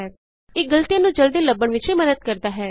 ਇਹ ਗਲਤੀਆਂ ਨੂੰ ਜਲਦੀ ਲੱਭਣ ਵਿਚ ਵੀ ਮੱਦਦ ਕਰਦਾ ਹੈ